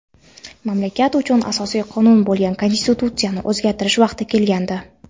mamlakat uchun asosiy qonun bo‘lgan konstitutsiyani o‘zgartirish vaqti kelgandi.